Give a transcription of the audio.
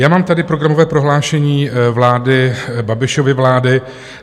Já mám tady programové prohlášení vlády, Babišovy vlády.